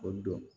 O don